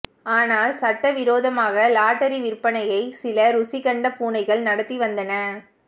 ஆனால் சட்டவிரோதமாக லாட்டரி விற்பனையை சில ருசி கண்ட பூனைகள் நடத்தி வந்தன